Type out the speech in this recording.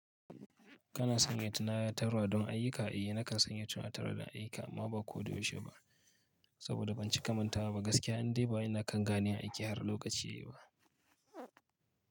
Kana sanya tunatarwa don ayyuka, eh nakan sanya tunatar da ayyuka amma ba ko da yaushe ba, saboda ban cika mantawa ba gaskiya, indai ba ina kan ganiyan aiki har lokaci yayi ba.